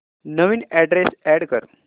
नवीन address add कर